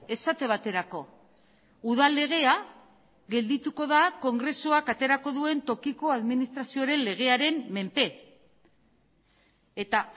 esate baterako udal legea geldituko da kongresuak aterako duen tokiko administrazioaren legearen menpe eta